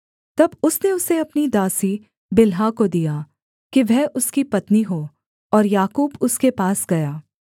तब उसने उसे अपनी दासी बिल्हा को दिया कि वह उसकी पत्नी हो और याकूब उसके पास गया